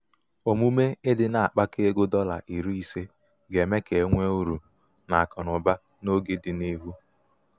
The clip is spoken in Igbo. omume ịdị na-akpakọ ego dọla iri ise ga-eme ka enwee uru.n'akụnaụba n'oge dị n'ihu.